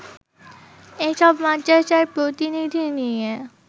এসব মাদ্রাসার প্রতিনিধি নিয়ে